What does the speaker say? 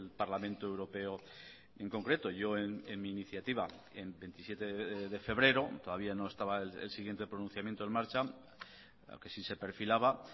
parlamento europeo en concreto yo en mi iniciativa en veintisiete de febrero todavía no estaba el siguiente pronunciamiento en marcha aunque sí se perfilaba